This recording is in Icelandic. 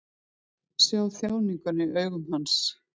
Sá þjáninguna í augum hans.